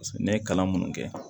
ne ye kalan munnu kɛ